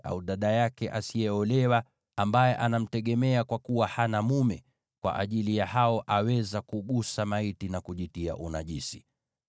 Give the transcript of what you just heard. au dada yake asiyeolewa ambaye anamtegemea kwa kuwa hana mume, kwa ajili ya hao aweza kujitia unajisi.